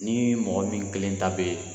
Ni mɔgɔ min kelen ta be